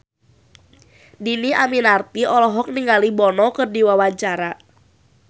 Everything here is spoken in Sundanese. Dhini Aminarti olohok ningali Bono keur diwawancara